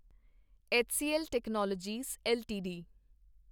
HCL technologies LTD